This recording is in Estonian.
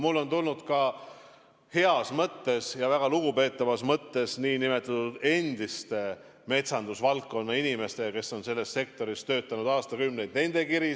Mulle on tulnud kiri heas ja väga lugupeetavas mõttes nn endistelt metsandusvaldkonna inimestelt, kes on selles sektoris töötanud aastakümneid – nendelt on tulnud kiri.